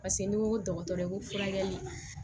Paseke ni n ko dɔgɔtɔrɔ ko furakɛli